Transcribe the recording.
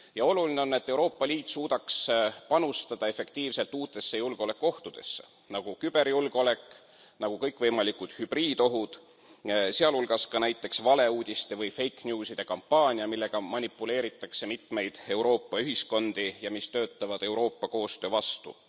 Ja oluline on, et Euroopa Liit suudaks panustada efektiivselt tegelemisse uute julgeolekuohtudega, nagu küberjulgeolek, nagu kõikvõimalikud hübriidohud, sh ka näiteks valeuudiste või fake news ´ide kampaania, millega manipuleeritakse mitmeid Euroopa ühiskondi ja mis töötavad Euroopa koostöö vastu.